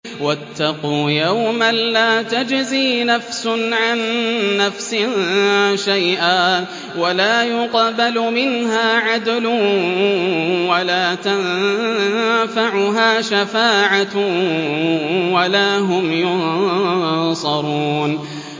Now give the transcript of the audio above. وَاتَّقُوا يَوْمًا لَّا تَجْزِي نَفْسٌ عَن نَّفْسٍ شَيْئًا وَلَا يُقْبَلُ مِنْهَا عَدْلٌ وَلَا تَنفَعُهَا شَفَاعَةٌ وَلَا هُمْ يُنصَرُونَ